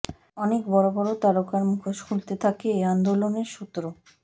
অনেক বড় বড় তারকার মুখোশ খুলতে থাকে এ আন্দোলনের সূত্র